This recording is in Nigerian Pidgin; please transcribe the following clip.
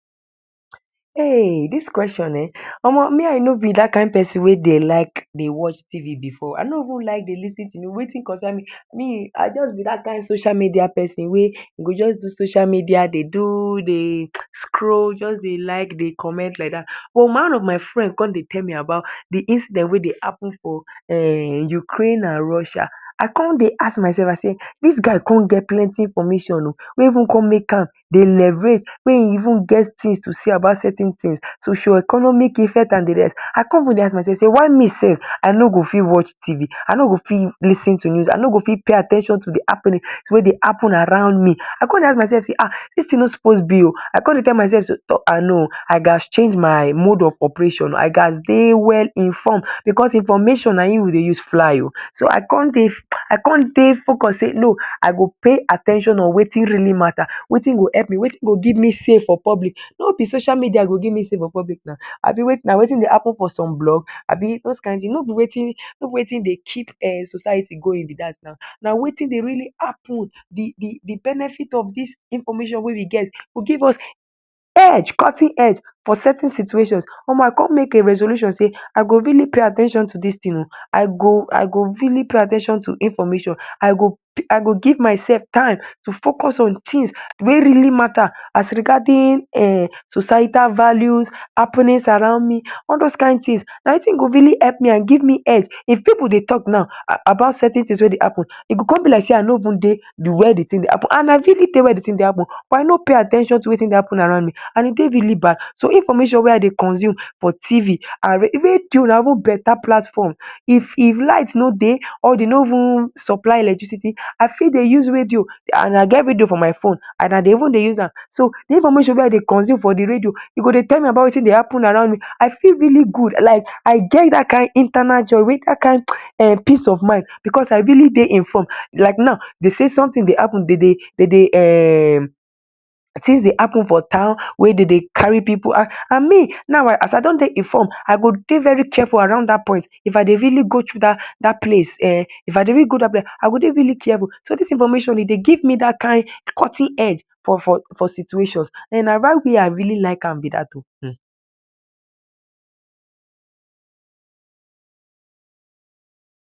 Heyy Omo dis question um I no b dat kind persin wey dey like watch tv before I no even like to lis ten to news Wetin concern me, me I just be dat kind social media person wey I go just do social media dey do scroll, just dey like dey comment like dat, but one of my friend con dey tell me de incident wey dey happen for Ukraine and Russia, I cin dey ask my self I say dis guy con get plenty information oh, wey dey make an dey relate wey he even get information about certain things socioeconomic and de rest, I con dey ask my self sey why me no watch TV, I no go fit lis ten to news, I no go fit pay at ten tion to de happenings wey dey happen around me, I con dey ask myself sey dis thing no suppose b oh, I con dey tell myself sey I gatz change my mode of operation I gatz dey well informed because information na hin we dey use fly o, so I con dey, I con dey focus say no I gatz pay at ten tion on Wetin really matter, Wetin go help me, Wetin go give me say for public, no be social media go give me say for public na Abi na Wetin dey happen for some blog, no b those kind things, no b Wetin dey keep society going be dat, na Weti dey really happen, de benefit of dis information wey we go give us edge, edge for certain situation, Omo I con make a resolution sey I go really pay at ten tion to dis thing oh, I go,I go really pay at ten tion to information, I go ,I go give myself time to focus on Wetin really matter as regarding societal values, happenings around me, all those kind things na Wetin go really help me and give me edge if pipu dey talk about certain things wey dey happen, e go con b like dey I no even dey where dey happen and I fit dey for where de thing dey happen but I no pay at ten tion to Wetin dey happen around me and e dey really bad, some information wey I dey consume for Tv and radio, radio na even better platform if light ni dey or dem no even supply electricity, I got dey use radio and I get radio for my phone and I dey even dey use am, so de information wey I dey consume for de radio e dey tell me Wetin dey happen around me I feel really good like I get dat kind internal joy, dat kind um peace of mind because I really dey informed, like now dem sey something dey happen dem dey um things dey happen for town wey dem dey carry pipu, Toh me now as I do dey informed I go dey very careful around dat point, if I dey really go dat place I go dey really careful so dis thing information e dey give me dat kind cutting edge for situations and na why me I really like am b dat o um.